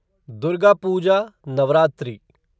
Durga Puja Navratri